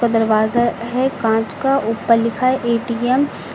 दरवाजा है कांच का ऊपर लिखा है ए_टी_एम --